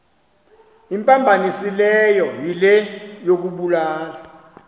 imphambanisileyo yile yokubulala